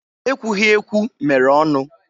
Ekwughiekwu mere ọnụ.